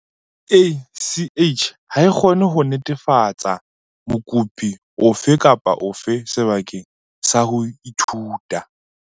CACH ha e kgone ho netefalletsa mokopi ofe kapa ofe sebaka sa ho ithuta.